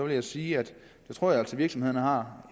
jeg sige at jeg tror at virksomhederne har